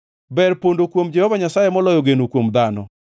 Ber pondo kuom Jehova Nyasaye moloyo geno kuom dhano.